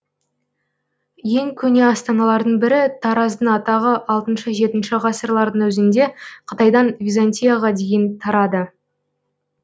ең көне астаналардың бірі тараздың атағы алтыншы жетінші ғасырлардың өзінде қытайдан византияға дейін тарады